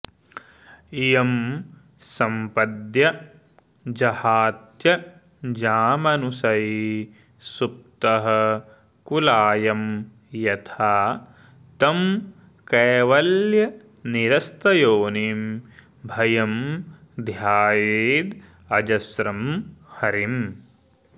यं सम्पद्य जहात्यजामनुशयी सुप्तः कुलायं यथा तं कैवल्यनिरस्तयोनिमभयं ध्यायेदजस्रं हरिम्